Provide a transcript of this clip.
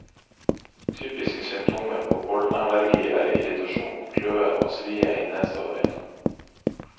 Typiske symptomer på pollenallergi er irritasjon, kløe og svie i nese og øyne.